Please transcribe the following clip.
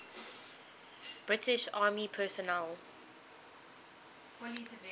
british army personnel